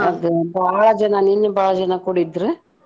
ಅದ್ ಭಾಳ ಜನಾ ನಿನ್ನಿ ಭಾಳ ಜನಾ ಕೂಡಿದ್ರು.